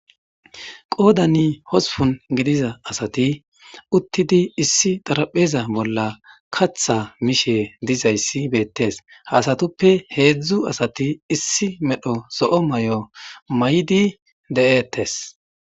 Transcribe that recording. Qooda ni hospun gidiza asati uttidi issi darapheza bolla katha mishe dizayssi beettes haasatuppe heedzdzu asati issi medho so'o may'o may'di de'eettes